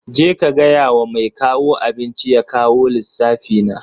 Je ka gaya wa mai kawo abinci ya kawo lissafi na.